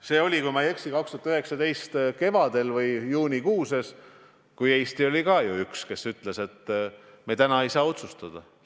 See oli – kui ma ei eksi – 2019. aasta kevadel või juunikuus, kui Eesti oli üks, kes ütles, et täna ei saa me otsustada.